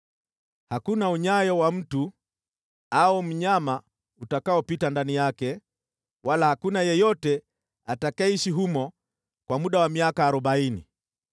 Hakuna unyayo wa mtu au mnyama utakaopita ndani yake, wala hakuna yeyote atakayeishi humo kwa muda wa miaka arobaini.